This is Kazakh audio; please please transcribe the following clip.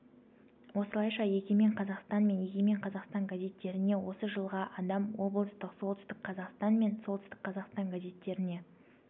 осылайша егемен қазақстан мен егемен қазақстан газеттеріне осы жылға адам облыстық солтүстік қазақстан мен солтүстік қазақстан газеттеріне